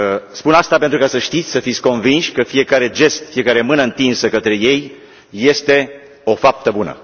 Spun asta pentru ca să știți, să fiți convinși că fiecare gest, fiecare mână întinsă către ei este o faptă bună.